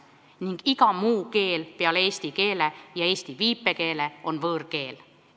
Paragrahv 5 ütleb, et iga muu keel peale eesti keele ja eesti viipekeele on võõrkeel.